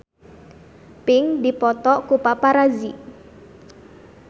Pink dipoto ku paparazi